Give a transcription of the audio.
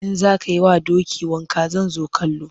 In za ka yi wa doki wanka zan zo kallo.